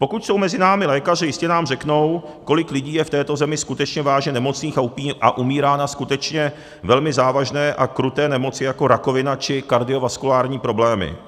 Pokud jsou mezi námi lékaři, jistě nám řeknou, kolik lidí je v této zemi skutečně vážně nemocných a umírá na skutečně velmi závažné a kruté nemoci jako rakovina či kardiovaskulární problémy.